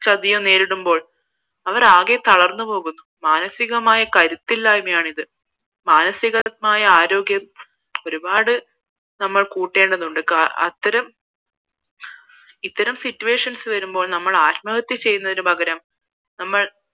മാനസികാമായി കരുത്തില്ലാത്തതാണ് ഇത് മാനസികമായ ആരോഗ്യം ഒരിപ്പാട് നമ്മൾ കൂട്ടേണ്ടത് ഉണ്ട് അത്തരം ഇത്തരം situations വരുമ്പോൾ ആത്മഹത്യ ചെയ്യുന്നതിന് പകരം നമ്മൾ